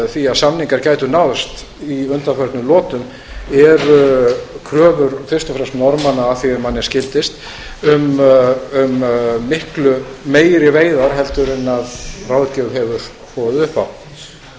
því að samningar gætu náðst í undanförnum lotum eru kröfur fyrst og fremst norðmanna að því er manni skildist um miklu meiri veiðar heldur en ráðgjöf hefur boðið